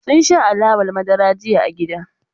Sun sha alawar madara jiya a gida.